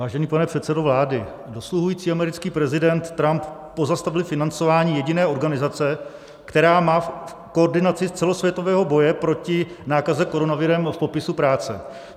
Vážený pane předsedo vlády, dosluhující americký prezident Trump pozastavil financování jediné organizace, která má koordinaci celosvětového boje proti nákaze koronavirem v popisu práce.